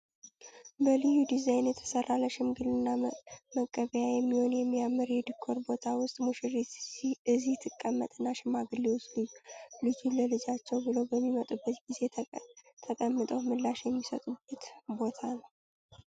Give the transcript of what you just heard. በልዩ ዲዛይን የተሰራ ለሽምግልና መቀቢያ የሚሆን የሚያምር የዲኮር ቦታ ሲሆን ሙሽሪት እዚህ ጥቀመጥና ሽማግሌዎች ልጅን ለልጃችን ብለው በሚመጡበት ጊዜ ተቀምጠው ምላሽ የሚሰጡበት ቦታ ነው ።